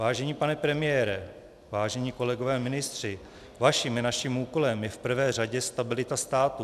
Vážený pane premiére, vážení kolegové ministři, vaším i naším úkolem je v prvé řadě stabilita státu.